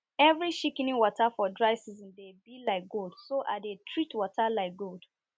every shikini water for dry season dey bi like gold so i dey treat water like gold